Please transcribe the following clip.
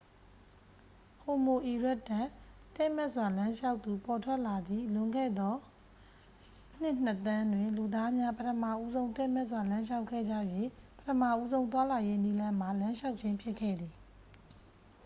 ဟိုမိုအီရက်တပ် တည့်မတ်စွာ လမ်းလျှောက်သူ ပေါ်ထွက်လာသည့် လွန်ခဲ့သော နှစ် နှစ် သန်းတွင် လူသားများ ပထမဦးဆုံး တည့်မတ်စွာ လမ်းလျှောက်ခဲ့ကြ၍ ပထမဦးဆုံး သွားလာရေးနည်းလမ်းမှာ လမ်းလျှောက်ခြင်း ဖြစ်ခဲ့သည်။